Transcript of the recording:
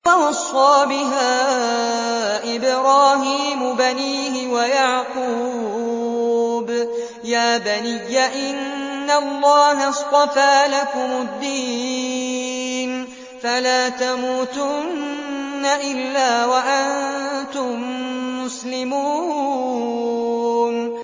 وَوَصَّىٰ بِهَا إِبْرَاهِيمُ بَنِيهِ وَيَعْقُوبُ يَا بَنِيَّ إِنَّ اللَّهَ اصْطَفَىٰ لَكُمُ الدِّينَ فَلَا تَمُوتُنَّ إِلَّا وَأَنتُم مُّسْلِمُونَ